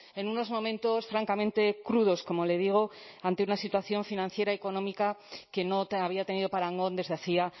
en unos momentos francamente crudos como le digo ante una situación financiera y económica que no había tenido parangón desde hacía